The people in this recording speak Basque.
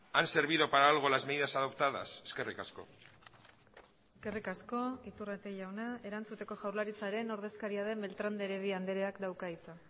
han servido para algo las medidas adoptadas eskerrik asko eskerrik asko iturrate jauna erantzuteko jaurlaritzaren ordezkaria den beltrán de heredia andreak dauka hitza